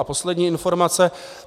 A poslední informace.